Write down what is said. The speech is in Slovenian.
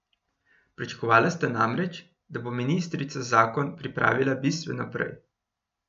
Pričakovala sta namreč, da bo ministrica zakon pripravila bistveno prej.